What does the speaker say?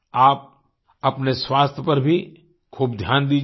आप अपने स्वास्थ्य पर भी खूब ध्यान दीजिये